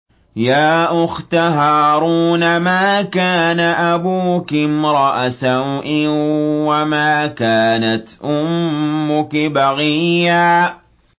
يَا أُخْتَ هَارُونَ مَا كَانَ أَبُوكِ امْرَأَ سَوْءٍ وَمَا كَانَتْ أُمُّكِ بَغِيًّا